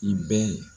I bɛ